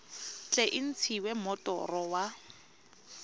tle e ntshiwe moroto wa